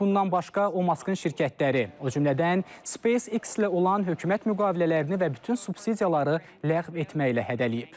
Bundan başqa o Maskın şirkətləri, o cümlədən SpaceX-lə olan hökumət müqavilələrini və bütün subsidiyaları ləğv etməklə hədələyib.